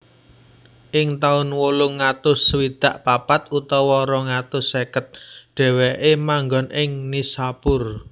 Ing taun wolung atus swidak papat utawa rong atus seket dhèwèké manggon ing Nishapur